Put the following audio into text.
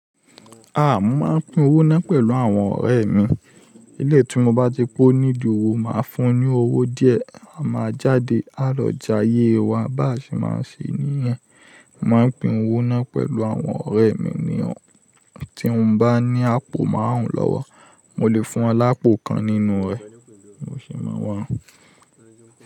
A máa ń pín owó náà pẹ̀lú àwọn ọ̀rẹ́ mi. Eléyìí tí mo bá ti pó nídi owó, màá fún un ní owó díẹ̀, a máa jáde àlọ́ já yé wa, bá ṣe máa ṣe níyẹn. Mo máa ń pín owó náà pẹ̀lú àwọn ọ̀rẹ́ mi ni ọ̀ún. Tí mo bá ní àpò máàrùn lọ́wọ́, mo lè fún wọn lápò kan nínú rẹ̀, mo sì máa wá òún.